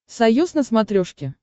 союз на смотрешке